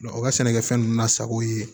u ka sɛnɛkɛfɛn ninnu lasago yen